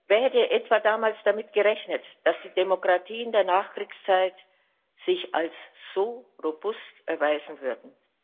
Wer hätte etwa damals damit gerechnet, dass die Demokratien der Nachkriegszeit sich als so robust erweisen würden?